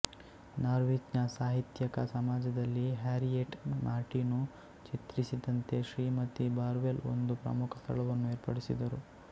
ನಾರ್ವಿಚ್ನ ಸಾಹಿತ್ಯಿಕ ಸಮಾಜದಲ್ಲಿ Harriet Martineau ಚಿತ್ರಿಸಿದಂತೆ ಶ್ರೀಮತಿ ಬಾರ್ವೆಲ್ ಒಂದು ಪ್ರಮುಖ ಸ್ಥಳವನ್ನು ಏರ್ಪಡಿಸಿದರು